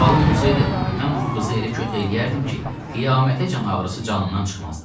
Halım olsaydı, mən bu qızı elə kötə eləyərdim ki, qiyamətəcən ağrısı canından çıxmazdı.